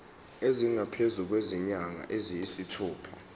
esingaphezu kwezinyanga eziyisithupha